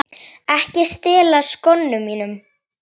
Ekki stela skónum mínum!